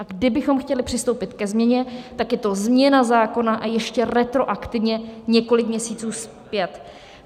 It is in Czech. A kdybychom chtěli přistoupit ke změně, tak je to změna zákona, a ještě retroaktivně několik měsíců zpět.